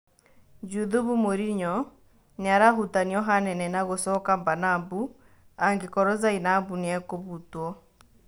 Juthubu Morinyo nĩarahutanio hanene na gũcoka Mbanabu angĩkorwo Zainabu nĩegũbutwo.